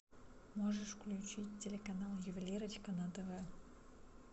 можешь включить телеканал ювелирочка на тв